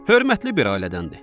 Hörmətli bir ailədəndir.